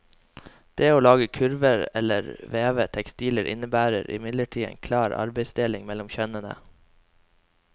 Det å lage kurver eller veve tekstiler innebærer imidlertid en klar arbeidsdeling mellom kjønnene.